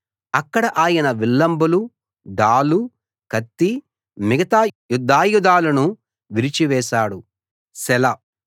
అక్కడ ఆయన విల్లంబులు డాలు కత్తి మిగతా యుద్ధాయుధాలను విరిచి వేశాడు సెలా